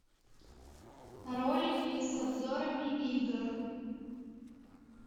ролики с обзорами игр